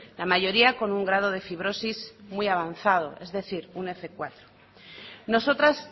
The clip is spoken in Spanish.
la mayoría con un grado de fibrosis muy avanzado es decir un f cuatro nosotras